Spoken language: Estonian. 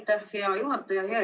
Aitäh, hea juhataja!